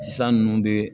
Sisan nunnu be